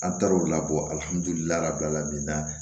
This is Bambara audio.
An taar'o labɔ